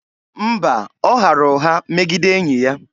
Mba, ọ ghara ụgha megide enyi ya.